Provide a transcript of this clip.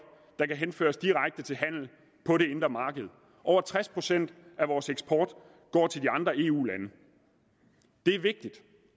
der kan henføres direkte til handel på det indre marked over tres procent af vores eksport går til de andre eu lande det er vigtigt